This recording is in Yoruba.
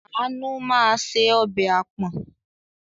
Àánú máa se ọbẹ̀ àpọ̀n.